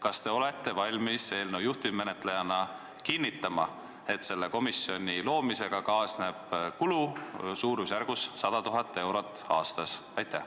Kas te olete valmis eelnõu juhtivmenetlejana kinnitama, et selle komisjoni loomisega kaasneb kulu suurusjärgus 100 000 eurot aastas?